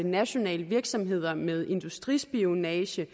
nationale virksomheder med industrispionage